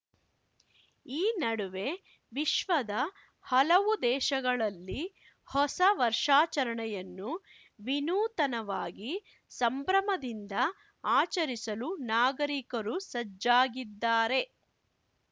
ಈ ನಡುವೆ ವಿಶ್ವದ ಹಲವು ದೇಶಗಳಲ್ಲಿ ಹೊಸ ವರ್ಷಾಚರಣೆಯನ್ನು ವಿನೂತನವಾಗಿ ಸಂಭ್ರಮದಿಂದ ಆಚರಿಸಲು ನಾಗರಿಕರು ಸಜ್ಜಾಗಿದ್ದಾರೆ